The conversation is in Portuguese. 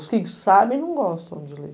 Os que sabem, não gostam de ler.